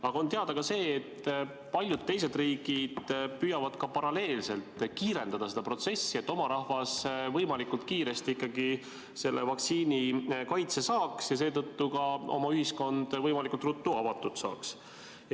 Aga on teada ka see, et paljud teised riigid püüavad paralleelselt kiirendada seda protsessi, et oma rahvas võimalikult kiiresti ikkagi selle vaktsiini kaitse saaks ja seetõttu ka oma ühiskond võimalikult ruttu avatud saaks.